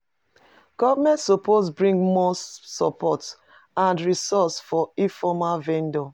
Government suppose bring more support and resources for informal vendors.